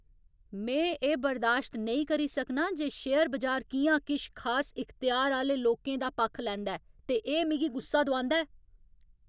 में एह् बर्दाश्त नेईं करी सकनां जे शेयर बजार कि'यां किश खास इख्तेयार आह्‌ले लोकें दा पक्ख लैंदा ऐ ते एह् मिगी गुस्सा दोआंदा ऐ।